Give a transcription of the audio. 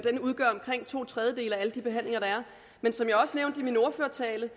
at den udgør omkring to tredjedele af alle de behandlinger der er men som jeg også nævnte i min ordførertale